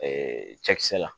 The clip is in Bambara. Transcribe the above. cɛkisɛ la